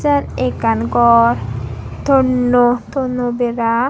seyot ekkan gor tonnoi tono bera.